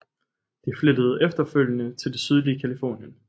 De flyttede efterfølgende til det sydlige Californien